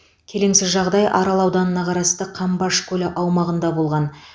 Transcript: келеңсіз жағдай арал ауданына қарасты қамбаш көлі аумағында болған